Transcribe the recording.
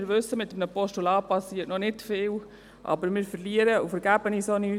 Wir wissen, dass mit einem Postulat noch nicht viel geschieht, aber wir verlieren dabei auch nichts.